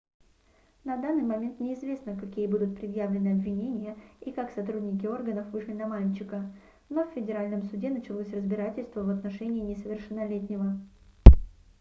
на данный момент неизвестно какие будут предъявлены обвинения и как сотрудники органов вышли на мальчика но в федеральном суде началось разбирательство в отношении несовершеннолетнего